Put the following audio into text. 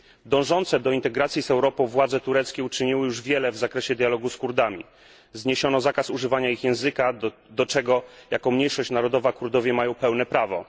Dążące do integracji z Europą władze tureckie uczyniły już wiele w zakresie dialogu z Kurdami zniesiono zakaz używania ich języka, do czego jako mniejszość narodowa Kurdowie mają pełne prawo.